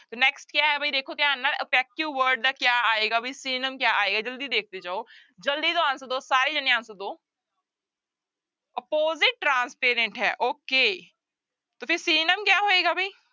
ਤੇ next ਕਿਆ ਹੈ ਬਈ ਦੇਖੋ ਧਿਆਨ ਨਾਲ opaque word ਦਾ ਕਿਆ ਆਏਗਾ ਬਈ synonym ਕਿਆ ਆਏਗਾ ਜ਼ਲਦੀ ਦੇਖਦੇ ਜਾਓ, ਜ਼ਲਦੀ ਨਾਲ answer ਦਓ ਸਾਰੇ ਜਾਣੇ answer ਦਓ opposite transparent ਹੈ okay ਤੇ ਫਿਰ synonym ਕਿਆ ਹੋਏਗਾ ਬਈ।